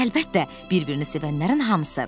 Əlbəttə, bir-birini sevənlərin hamısı.